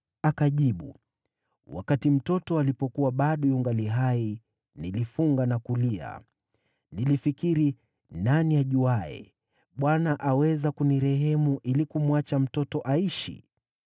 Akajibu, “Wakati mtoto alipokuwa bado yungali hai, nilifunga na kulia. Nilifikiri, ‘Nani ajuaye? Bwana aweza kunirehemu ili kumwacha mtoto aishi.’